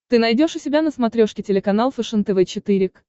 ты найдешь у себя на смотрешке телеканал фэшен тв четыре к